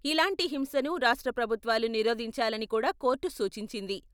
ఇలాంటి హింసను రాష్ట్ర ప్రభుత్వాలు నిరోధించాలని కూడా కోర్టు సూచించింది.